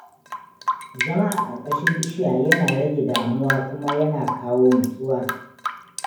Zama a ƙarƙashin bishiya yana rage damuwa kuma yana kawo nutsuwa.